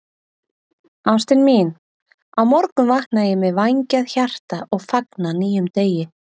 Ástin mín, á morgun vakna ég með vængjað hjarta og fagna nýjum degi.